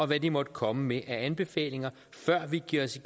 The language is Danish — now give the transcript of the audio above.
hvad de måtte komme med af anbefalinger før vi giver os i